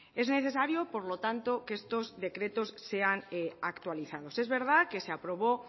en necesario por lo tanto que estos decretos sean actualizados es verdad que se aprobó